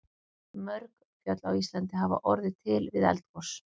Mörg fjöll á Íslandi hafa orðið til við eldgos.